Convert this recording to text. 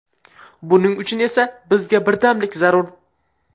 Buning uchun esa bizga birdamlik zarur.